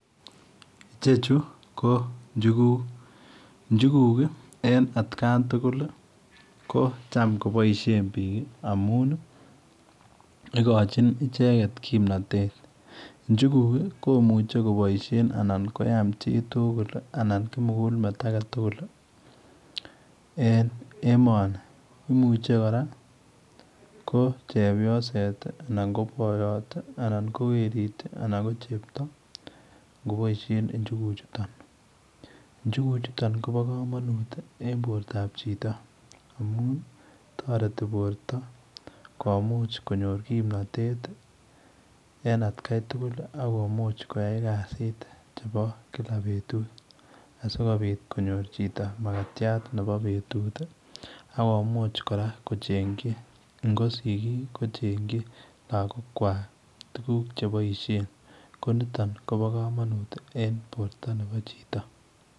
Ichechuu ii ko njuguug, njuguug ii ko en at kan tuguul ko chaam kobaisheen biik amuun igochiinn ichegeet kimnatet, njuguug komuchei kobaisheen anan koyaam chii tugul anan kimugul meet age tugul ii en emanii, imuche kora ko chepyoset ii anan ko boyoot anan werit ii anan ko chepto ingoboisien njuguug chutoon kobaa kamanuut en borto ab chitoo amuun taretii bortoo komuuch konyoor kimnatet en at Kai tugul ako komuuch koyai kasiit chebo kila betut asikobiit konyoor chitoo makatiat nebo betut ii akomuuch kora kocheenyii ko sigig ii kochengyii lagook kwaak tuguuk che boisien ko nitoon kobaa kamanuut ii en borto nebo chitoo.